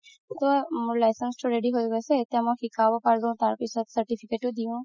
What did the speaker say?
তৌ মোৰ license তো ready হয় গৈছে এতিয়া মই শিকাব পাৰো certificate ও দিও